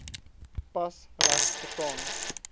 pas reg verstaan